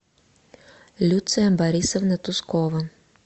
люция борисовна тускова